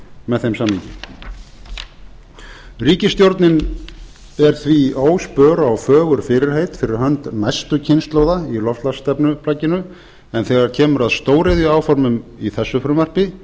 með þeim samningi ríkisstjórnin er óspör á fögur fyrirheit fyrir hönd næstu kynslóða í loftslagsstefnuplagginu en þegar kemur að stóriðjuáformum í þessu frumvarpi